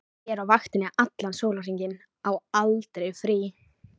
Ég er á vaktinni allan sólarhringinn, á aldrei frí.